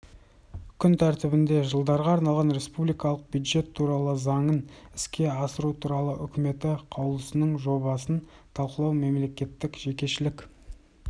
күн тәртібінде жылдарға арналған республикалық бюджет туралы заңын іске асыру туралы үкіметі қаулысының жобасын талқылау мемлекеттік-жекешелік